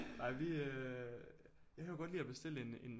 Ej vi øh jeg kan jo godt lide at bestille en en